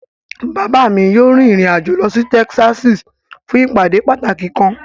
Baba mi yoo rin irin ajo lọ si Tẹkisasi fun ipade pataki kan